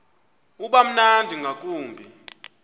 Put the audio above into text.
uba mnandi ngakumbi